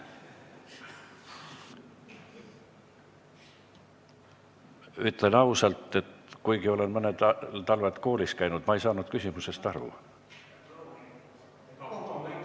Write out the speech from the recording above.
Ütlen ausalt, et kuigi olen mõned talved koolis käinud, ma ei saanud küsimusest aru.